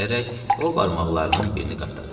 deyərək o barmaqlarının birini qatladı.